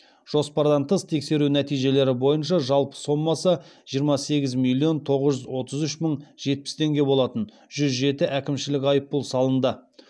жоспардан тыс тексеру нәтижелері бойынша жалпы сомасы жиырма сегіз миллион тоғыз жүз отыз үш мың жетпіс теңге болатын жүз жеті әкімшілік айыппұл салынды